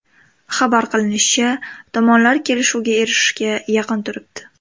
Xabar qilinishicha, tomonlar kelishuvga erishishga yaqin turibdi.